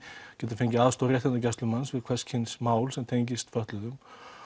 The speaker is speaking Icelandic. geta fengið aðstoð réttindagæslumanns við hvers kyns mál sem tengist fötluðum